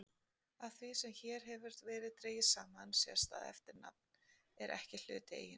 Af því sem hér hefur verið dregið saman sést að eftirnafn er ekki hluti eiginnafns.